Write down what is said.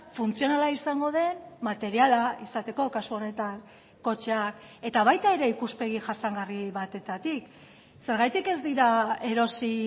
funtzionala izango den materiala izateko kasu honetan kotxeak eta baita ere ikuspegi jasangarri batetik zergatik ez dira erosi